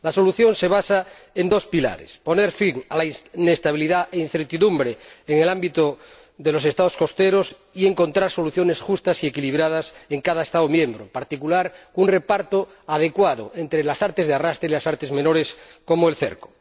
La solución a este problema se asienta en dos pilares poner fin a la inestabilidad e incertidumbre en el ámbito de los Estados costeros y encontrar soluciones justas y equilibradas en cada Estado miembro, en particular un reparto adecuado entre las artes de arrastre y las artes menores, como el cerco.